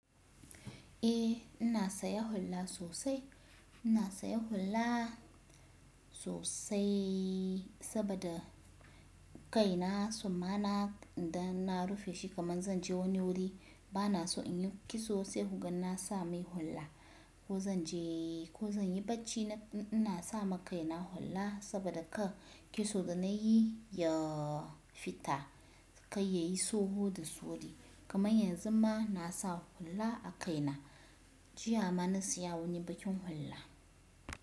Eh ina saya hulla sosai. Ina saya hulla sosai sabada kaina summana idan na rufe shi kaman zan je wani wuri bana so in yi kitso sai kugan na sa mai hulla ko zan je ko zan yi bacci ina sa ma kaina hula saboda ka kitso da na yi ya fita kai ya yi soho da su wuri kaman yanzu ma na sa hula a kaina. Jiya ma na siya wani bakin hula.